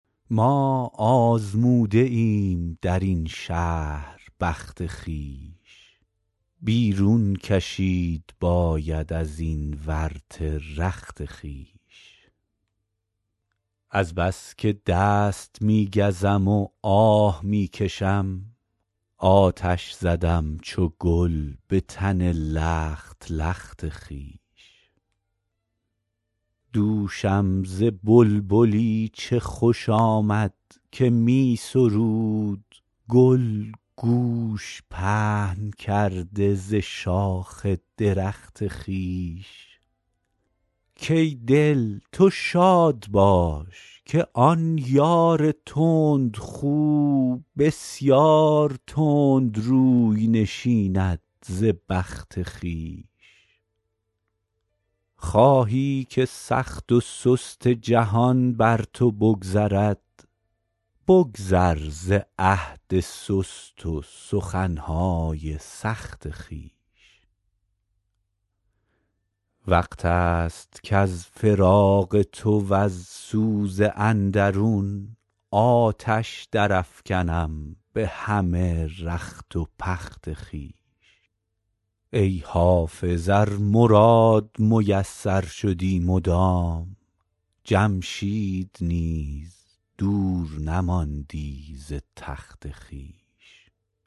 ما آزموده ایم در این شهر بخت خویش بیرون کشید باید از این ورطه رخت خویش از بس که دست می گزم و آه می کشم آتش زدم چو گل به تن لخت لخت خویش دوشم ز بلبلی چه خوش آمد که می سرود گل گوش پهن کرده ز شاخ درخت خویش کای دل تو شاد باش که آن یار تندخو بسیار تند روی نشیند ز بخت خویش خواهی که سخت و سست جهان بر تو بگذرد بگذر ز عهد سست و سخن های سخت خویش وقت است کز فراق تو وز سوز اندرون آتش درافکنم به همه رخت و پخت خویش ای حافظ ار مراد میسر شدی مدام جمشید نیز دور نماندی ز تخت خویش